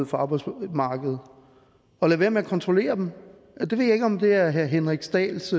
for arbejdsmarkedet og lade være med at kontrollere dem jeg ved ikke om det er herre henrik dahls